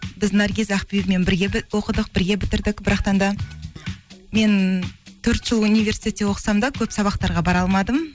біз наргиз ақбибімен бірге оқыдық бірге бітірдік да мен төрт жыл универститетте оқысам да көп сабақтарға бара алмадым